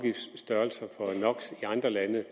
andre lande